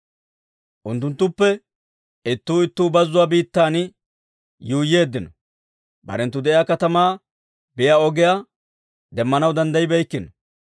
Unttunttuppe ittuu ittuu bazzuwaa biittan yuuyyeeddino. Barenttu de'iyaa katamaa biyaa ogiyaa, demmanaw danddayibeykkino.